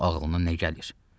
Gör ağlına nə gəlir?